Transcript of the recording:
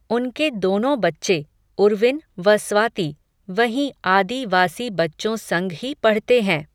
उनके दोनों बच्चे, उर्विन, व स्वाति, वहीं आदि वासी बच्चों संग ही पढ़ते हैं